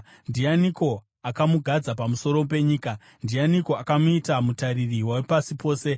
Ndianiko akamugadza pamusoro penyika? Ndianiko akamuita mutariri wepasi pose?